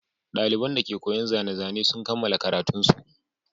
Ɗaliban dake koyon zane-zane sun kammala karatunsu.